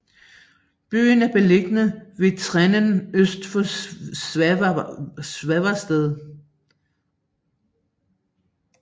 Byen er beliggende ved Trenen øst for Svavsted